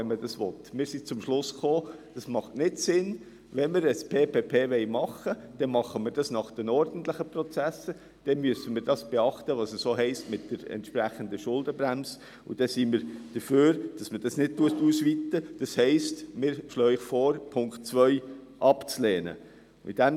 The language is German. Der Kanton, der sich selber günstig finanzieren könnte, entschied sich für eine Fremdfinanzierung mit einer relativ hohen Miete.